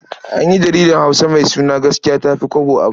An yi jaridar Hausa mai suna Gaskiya ta fi Kwabo a baya.